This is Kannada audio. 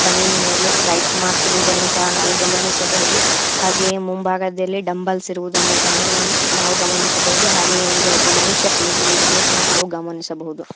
ಬನೀನ್ ಮೇಲೆ ರೈಟ್ ಮಾರ್ಕ್ ಇರುವುದನ್ನು ಸಹ ನಾವು ಗಮನಿಸಬಹುದು ಹಾಗೆ ಮುಂಭಾಗದಲ್ಲಿ ಡಂಬಲ್ಸ್ ಇರುವುದನ್ನು ಸಹ ನಾವು ಗಮನಿಸಬಹುದು ಹಾಗೆ ಹಿಂದೆ ಒಬ್ಬ ಮನುಷ್ಯ ಕುಳಿತಿರುವುದನ್ನು ಸಹ ಗಮನಿಸಬಹುದು.